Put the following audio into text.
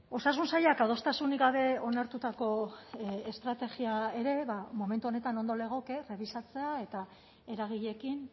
osasun sailak adostasunik gabe onartutako estrategia ere momentu honetan ondo legoke rebisatzea eta eragileekin